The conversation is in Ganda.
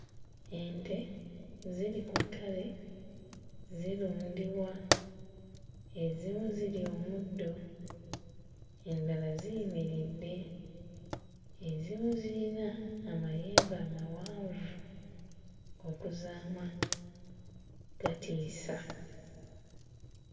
Ente ziri ku ttale zirundibwa, ezimu zirya omuddo endala ziyimiridde, ezimu ziyina amayembe amawanvu okuzaama gatiisa.